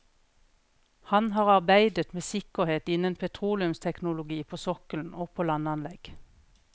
Han har arbeidet med sikkerhet innen petroleumsteknologi på sokkelen og på landanlegg.